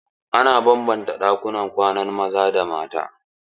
Ana banbanta ɗakunan kwanan maza da na mata.